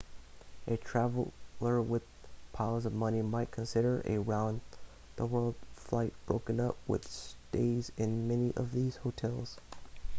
a traveller with piles of money might consider a round the world flight broken up with stays in many of these hotels